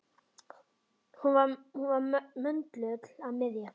Hún var möndull og miðja.